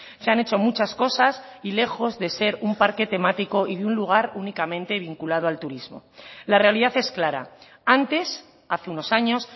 se han hecho muchas cosas y lejos de ser un parque temático y un lugar únicamente vinculado al turismo la realidad es clara antes hace unos años